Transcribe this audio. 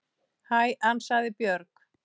Hæ, ansaði Björg.